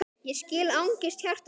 Ég skil angist hjarta þíns